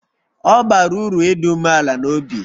Ọ bara uru ịdị umeala n'obi